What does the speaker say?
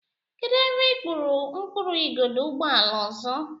Kedụ ebe ị kpụrụ mkpụrụ igodo ụgbọala ọzọ?